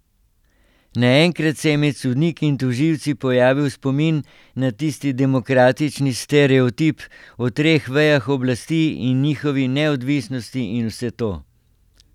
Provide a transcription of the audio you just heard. Naenkrat se je med sodniki in tožilci pojavil spomin na tisti demokratični stereotip, o treh vejah oblasti in njihovi neodvisnosti in vse to.